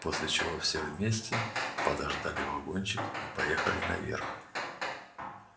после чего все вместе подождали вагончик и поехали наверх